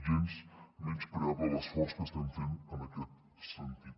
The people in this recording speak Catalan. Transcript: gens menyspreable l’esforç que estem fent en aquest sentit